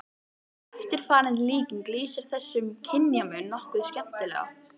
Eftirfarandi líking lýsir þessum kynjamun nokkuð skemmtilega